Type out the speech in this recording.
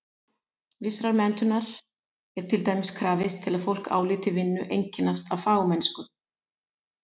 Vissrar menntunar er til dæmis krafist til að fólk álíti vinnu einkennast af fagmennsku.